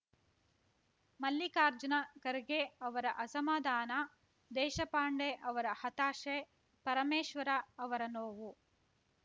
ಮಲ್ಲಿಕಾರ್ಜುನ ಖರ್ಗೆ ಅವರ ಅಸಮಾಧಾನ ದೇಶಪಾಂಡೆ ಅವರ ಹತಾಶೆ ಪರಮೇಶ್ವರ ಅವರ ನೋವು